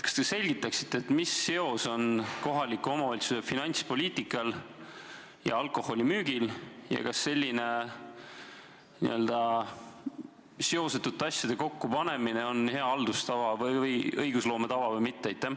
Kas te selgitaksite, mis seos on kohaliku omavalitsuse finantspoliitikal ja alkoholimüügil ning kas selline n-ö seosetute asjade kokkupanemine on hea õigusloome tava või mitte?